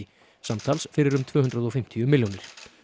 samtals fyrir um tvö hundruð og fimmtíu milljónir